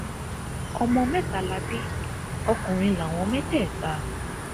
ọmọ mẹta la bí ọkùnrin láwọn mẹtẹẹta